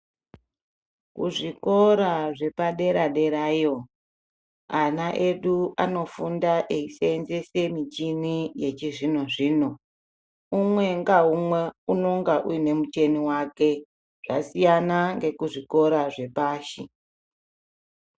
Kuzvikora zvepadera-derayo, ana edu anofunda eiseenzese michina yechizvino-zvino, umwe ngaumwe unenge uine muchini wake zvasiyana ngekuzvikora zvepashi.